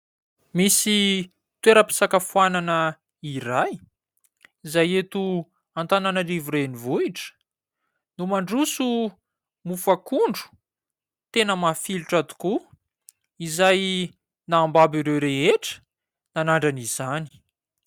Misy toeram-pisakafoana iray, izay eto antananarivo renivohitra no mandroso mofo akondro tena mafilotra tokoa izay nahababo ireo rehetra nanandrana izany.